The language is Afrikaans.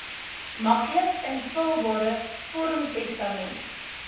maklik invulbare vormtestament